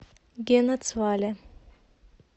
генацвале